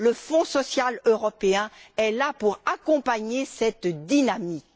Le Fonds social européen est là pour accompagner cette dynamique.